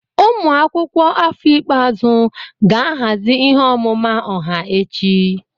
Ụmụ akwụkwọ afọ ikpeazụ ga-ahazi ihe ọmụma ọha echi.